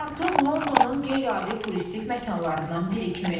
Artıq Londonun qeyri-adi turistik məkanlarından biri kimi.